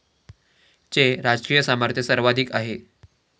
चे राजकीय सामर्थ्य सर्वाधिक आहे.